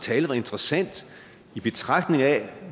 tale var interessant i betragtning af